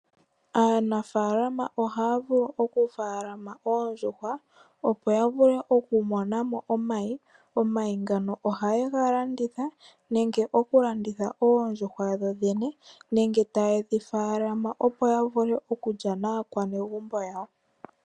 Aanafalama ohaya vulu okutekula oondjuhwa opo yavule okumona mo omayi, omayi ngaka ohaye galanditha nenge okulanditha oondjuhwa dhodhene nenge taye dhi tekula opo yavule okulya naakwanegumbo yawo.